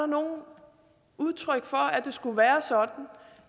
noget udtryk for at det skulle være sådan